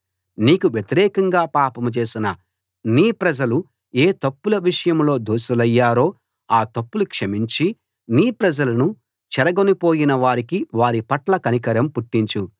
నీకు వ్యతిరేకంగా పాపం చేసిన నీ ప్రజలు ఏ తప్పుల విషయంలో దోషులయ్యారో ఆ తప్పులు క్షమించి నీ ప్రజలను చెరగొనిపోయిన వారికి వారి పట్ల కనికరం పుట్టించు